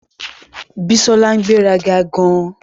Bísọ́lá ń gbéraga gan-an